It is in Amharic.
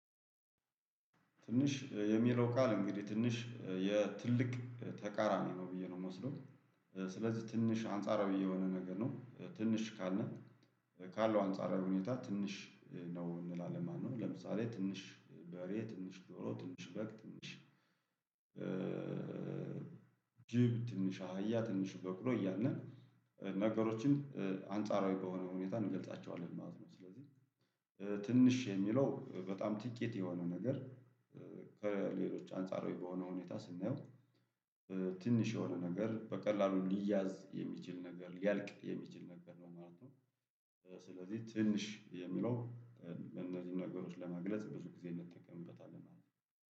ትንሽ የሚለው ቃል እንግዲህ ትንሽ የትልቅ ተቃራኒ ነው ብዬ ነው የምወስደው። ስለዚህ ትንሽ አንጻራዊ የሆነ ነገር ነው ትንሽ ካልን። ካለው አንጻራዊ ሁኔታ ትንሽ ነው እንላለን። ማነው? ለምሳሌ ትንሽ በሬ ትንሽ ዶሮ ትንሽ በግ ትንሽ ጅብ ትንሽ አህያ ትንሽ በቅሎ ያልን ነገሮችን አንጻራዊ በሆነ ሁኔታ እንገልጻቸዋለን ማለት ነው። ስለዚህ ትንሽ የሚለው በጣም ጥቂት የሆነ ነገር። ከሌሎች አንጻራዊ በሆነ ሁኔታ ስናየው። ትንሽ የሆነ ነገር በቀላሉ ሊያዝ የሚችል ነገር ሊያልቅ የሚችል ነገር ነው ማለት ነው። ስለዚህ ትንሽ የሚለው እነዚህን ነገሮች ለማግለጽ ብዙ ጊዜ እንጠቀምበታለን